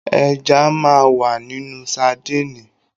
Ẹja máa wà nínú sadíìnì.